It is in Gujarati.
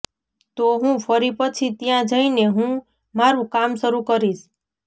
તો હું ફરી પછી ત્યાં જઈને હું મારુ કામ શરૂ કરીશ